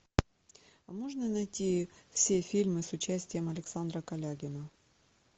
а можно найти все фильмы с участием александра калягина